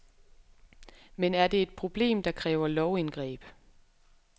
Men er det et problem, der kræver lovindgreb.